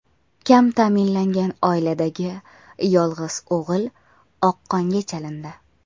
Kam ta’minlangan oiladagi yolg‘iz o‘g‘il oqqonga chalindi.